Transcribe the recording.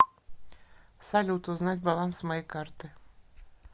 салют узнать баланс моей карты